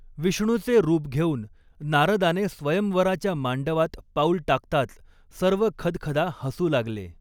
विष्णूचे रूप घेऊन नारदाने स्वयंवराच्या मांडवात पाऊल टाकताच सर्व खदखदा हसू लागले.